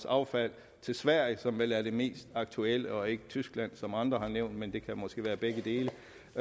affald til sverige som vel er det mest aktuelle og ikke tyskland som andre har nævnt men det kan måske være begge dele